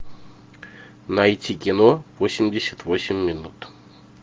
найти кино восемьдесят восемь минут